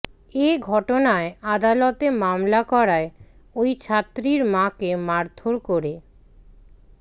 এ ঘটনায় আদালতে মামলা করায় ওই ছাত্রীর মাকে মারধর করে